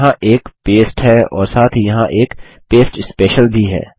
यहाँ एक पस्ते है और साथ ही यहाँ एक पस्ते स्पेशियल भी है